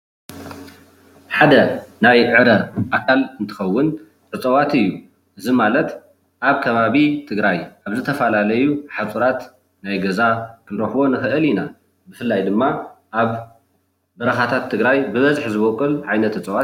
ሓደ ናይ ዕረ ኣካል እንትከውን እፅዋት እዩ። እዚ ማለት ኣብ ከባቢ ትግራይ ኣብ ዝተፈላለዩ ሓፁራት ናይ ገዛ ክንረክቦ ንክእል ኢና። ብፍላይ ድማ ኣብ በረኻታት ትግራይ ብበዝሒ ዝቦቅል ዓይነት እፅዋት እዩ ፡፡